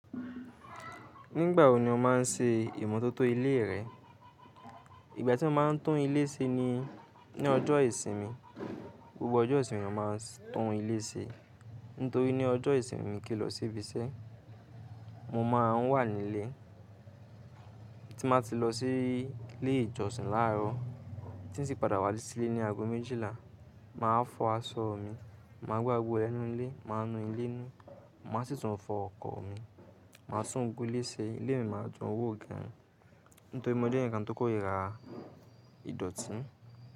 Nígbà wo ni o má a n ṣe ìmotótó ilé rẹ? Ìgbà tí mo máa n tún ilé ṣe ni ní ọjọ́ ìsinmi. Gbogbo ọjọ́ ìsinmi mo má a n tún ilé ṣe. Nítorí ní ọjọ́ ìsinmi mi kín lọ síbi iṣẹ́, mo má a n wà nílé. Tí mo bá ti lọ sí ilé ìjọsìn láàárọ̀, tí n sì padà wá sílé ní ago méjìlá, màá fọ aṣọ mi, màá gbágbé ooru ẹnu ilé, màá nu ilé nù, màá sì tún fọ ọkọ̀ mi, màá sún gbogbó ilé ṣe, ilé mi máa dún wó gan. Nítorí mo jẹ́ ẹnìkan tó kórìíra ìdọ̀tí.